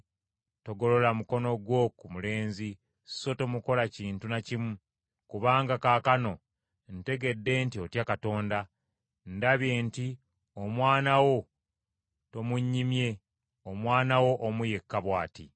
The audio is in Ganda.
“Togolola mukono gwo ku mulenzi so tomukola kintu na kimu, kubanga kaakano ntegedde nti otya Katonda, ndabye nti omwana wo tomunnyimye, omwana wo omu yekka bw’ati.”